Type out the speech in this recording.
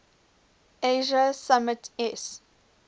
asia summit eas